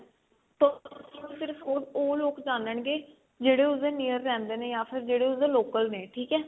ਉਹ ਲੋਕ ਜਾਨਣਗੇ ਜਿਹੜੇ ਉਸਦੇ near ਰਹਿੰਦੇ ਨੇ ਜਾਂ ਫ਼ੇਰ ਜਿਹੜੇ ਉਹਦੇ local ਨੇ ਠੀਕ ਆ